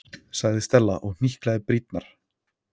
sagði Stella og hnyklaði brýnnar.